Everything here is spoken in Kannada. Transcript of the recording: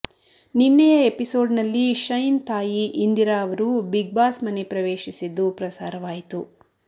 ನಿನ್ನೆಯ ಎಪಿಸೋಡ್ನಲ್ಲಿ ಶೈನ್ ತಾಯಿ ಇಂದಿರಾ ಅವರು ಬಿಗ್ಬಾಸ್ ಮನೆ ಪ್ರವೇಶಿಸಿದ್ದು ಪ್ರಸಾರವಾಯಿತು